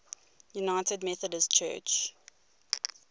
united methodist church